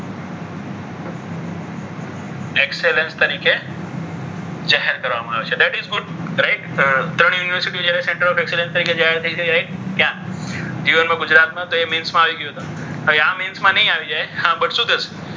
excellence તરીકે જાહેર કરવામાં આવે છે. that is good, great ત્રણ યુનિવર્સિટી excellence તરીકે જાહેર થઈ ત્યાં યુએનમાં ગુજરાતમાં મેન્સમાં આવી ગયો હતો. હવે આ મેન્સમાં નહિ આવી જાય હા પણ શું થશે?